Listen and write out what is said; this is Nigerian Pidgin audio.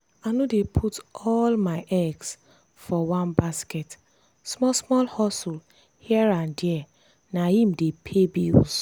i no dey put all my eggs for one basket small-small hustle here and there na im dey pay bills.